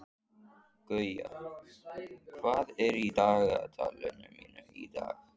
Guja, hvað er í dagatalinu mínu í dag?